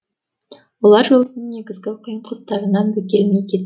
олар жолдың негізгі қиын тұстарынан бөгелмеген